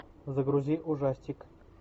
загрузи ужастик